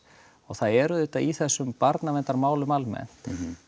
og það er auðvitað í þessum barnaverndarmálum almennt